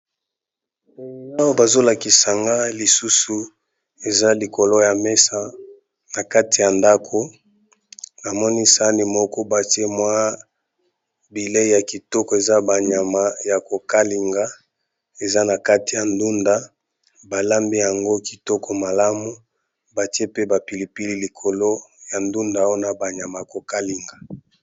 Awa bazo lakisanga lisusu eza likolo ya mesa na kati ya ndako namoni sani moko batie mwa bileyi ya kitoko eza banyama ya kokalinga eza na kati ya ndunda balambi yango kitoko malamu batie pe ba pilipili likolo ya ndunda ona banyama ya kokalinga.